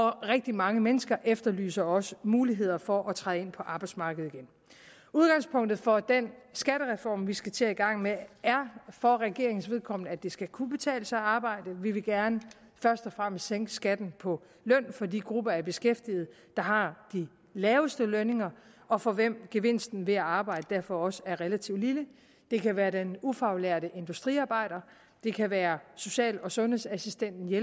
rigtig mange mennesker efterlyser også muligheder for at træde ind på arbejdsmarkedet igen udgangspunktet for den skattereform som vi skal til at i gang med er for regeringens vedkommende at det skal kunne betale sig at arbejde vi vil gerne først og fremmest sænke skatten på løn for de grupper af beskæftigede der har de laveste lønninger og for hvem gevinsten ved at arbejde derfor også er relativt lille det kan være den ufaglærte industriarbejder det kan være social og sundhedsassistenten det